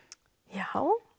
já